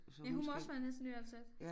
Ja hun må også være næsten nyansat